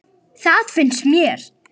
Það finnst mér.